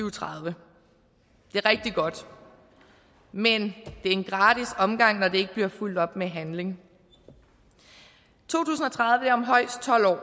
og tredive det er rigtig godt men det er en gratis omgang når det ikke bliver fulgt op med handling to tusind og tredive er om højst tolv år og